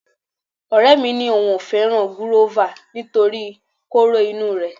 Ọ̀rẹ́ mi ni òun ò fẹ́ràn gúrófà nítorí kóró inú rẹ̀